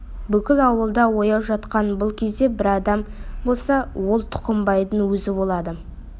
бүкіл ауылда ояу жатқан бұл кезде бір адам болса ол тұқымбайдың өзі болады